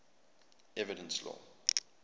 evidence law